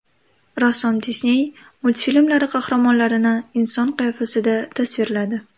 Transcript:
Rassom Disney multfilmlari qahramonlarini inson qiyofasida tasvirladi .